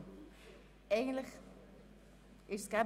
– Das ist nicht der Fall.